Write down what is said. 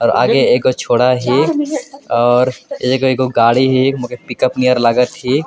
और आगे एक गो छोड़ा हे और एक गाड़ी है मगर मोके पिकअप नियर लगत हे।